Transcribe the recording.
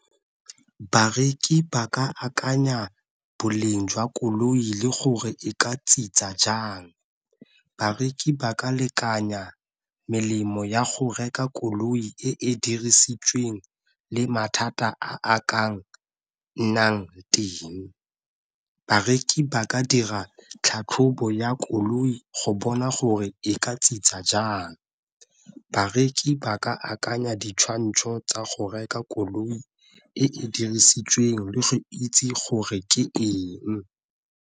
Bareki ba ka akanya boleng jwa koloi le gore e ka jang, bareki ba ka lekanya melemo ya go reka koloi e e dirisitsweng le mathata a ka nnang teng. Bareki ba ka dira tlhatlhobo ya koloi go bona gore e ka jang. Bareki ba ka akanya ditshwantsho tsa go reka koloi e dirisitsweng le go itse gore ke eng.